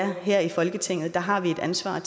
her i folketinget har vi et ansvar